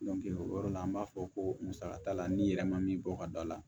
o yɔrɔ la an b'a fɔ ko musa t'a la ni yɛrɛ ma min bɔ ka d'a la